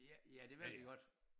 Ja ja det ville de godt